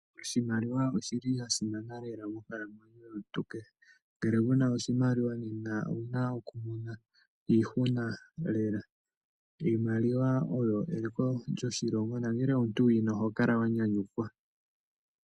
Oshimaliwa oshi li sha simana monkalamwenyo yomuntu kehe. Ngele kuna oshimaliwa owuna okumona iihuna lela. Iimaliwa oyo eliko lyoshilongo nongele omuntu wuyina oho kala wa nyanyukwa.